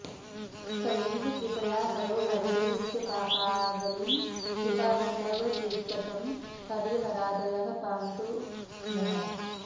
तवैव कृपया हरो हरति विश्वपापावलीं कृपा न तव चेत्कथं हरिहरादयः पान्तु नः